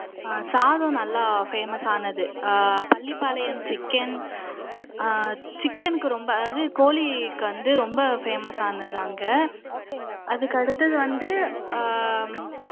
சாதம் நல்லா ஃபேமஸ் ஆனது அஹ் பள்ளிபாளையம் சிக்கன் சிக்கனுக்கு ரொம்ப அதாவது கோழிக்கு வந்து ரொம்ப ஃபேமஸ் ஆனது அங்க அதுக்கு அடுத்தது வந்து